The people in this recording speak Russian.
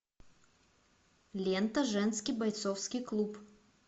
лента женский бойцовский клуб